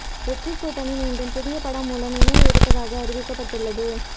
வெற்றி கூட்டணி மீண்டும் புதிய படம் மூலம் இணைய இருப்பதாக அறிவிக்கப்பட்டுள்ளது